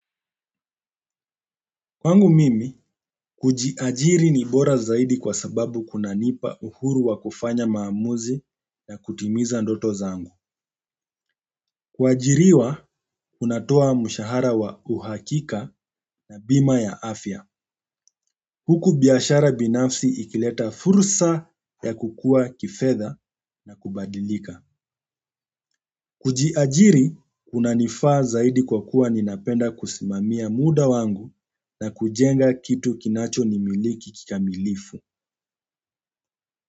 Kwangu mimi, kujiajiri ni bora zaidi kwa sababu kuna nipa uhuru wa kufanya maamuzi na kutimiza ndoto zangu. Kuajiriwa, unatoa mshahara wa uhakika na bima ya afya. Huku biashara binafsi ikileta fursa ya kukuwa kifedha na kubadilika. Kujiajiri, kuna nifaa zaidi kwa kuwa ninapenda kusimamia muda wangu na kujenga kitu kinacho ni miliki kika milifu.